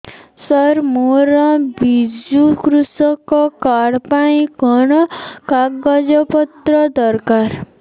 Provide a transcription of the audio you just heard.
ସାର ମୋର ବିଜୁ କୃଷକ କାର୍ଡ ପାଇଁ କଣ କାଗଜ ପତ୍ର ଦରକାର